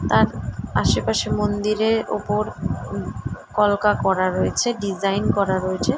তার আশেপাশে মন্দির এর উপর উ কলকা করা রয়েছে ডিজাইন করা রয়েছে।